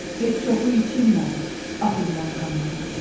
Heç çoxu içilmədi, axıdılan qanların.